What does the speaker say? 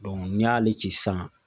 n'i y'ale ci sisan